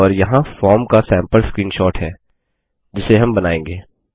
और यहाँ फॉर्म का सैम्पल स्क्रीनशॉट है जिसे हम बनाएँगे